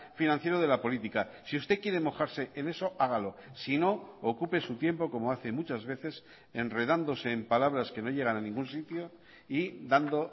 financiero de la política si usted quiere mojarse en eso hágalo sino ocupe su tiempo como hace muchas veces enredándose en palabras que no llegan a ningún sitio y dando